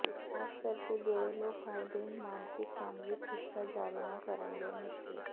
ਖ਼ਾਸ ਕਰਕੇ ਜਿਹੜੇ ਲੋਕ ਹਰ ਦਿਨ ਮਾਨਸਿਕ ਕੰਮ ਵਿਚ ਹਿੱਸਾ ਜਾਰੀ ਨਾ ਕਰਨ ਲਈ ਮੁਸ਼ਕਲ